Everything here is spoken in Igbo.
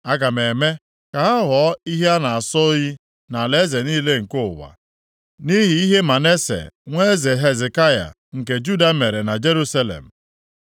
Aga m eme ka ha ghọọ ihe a na-asọ oyi nʼalaeze niile nke ụwa, nʼihi ihe Manase nwa eze Hezekaya nke Juda mere na Jerusalem.